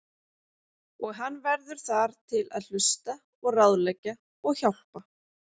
Og hann verður þar til að hlusta og ráðleggja og hjálpa.